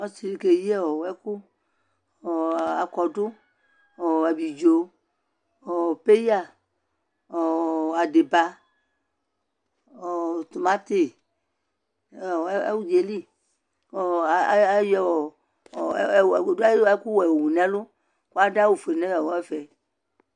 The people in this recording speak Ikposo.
ɔsiidi kɛyi ɛkʋ, akɔdʋ abidzɔ, paya adiba, tʋmanti nʋ ʋdzaɛli ayɔ ɛkʋ wɛ yɔwʋ nʋ ɛlʋ kʋ adʋ awʋ ƒʋɛ nʋ ɛƒɛ